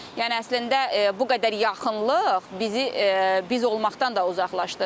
Yəni əslində bu qədər yaxınlıq bizi biz olmaqdan da uzaqlaşdırır.